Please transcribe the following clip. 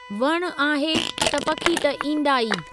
वणु आहे त पखी त ईंदा ई।